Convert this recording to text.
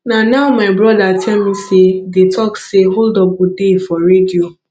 na now my brother tell me say dey talk say hold up go dey for radio